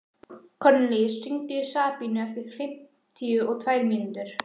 Kornelíus, hringdu í Sabínu eftir fimmtíu og tvær mínútur.